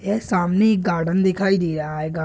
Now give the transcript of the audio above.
ये सामने एक गार्डन दिखाई दे रहा है गा --